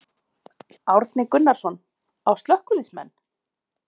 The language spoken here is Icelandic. Árni Gunnarsson: Á slökkviliðsmenn?